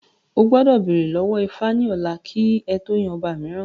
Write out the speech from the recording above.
O gbọ́dọ̀ bèrè lọ́wọ́ ifá ní ọ̀la kí ẹ tó yan ọba mìíràn